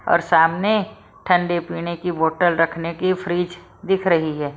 और सामने ठंडे पीने की बोतल रखने की फ्रिज दिख रही है।